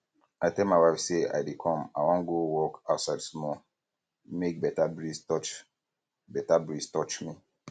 i tell my wife say i dey come i wan go walk outside small make beta breeze touch beta breeze touch me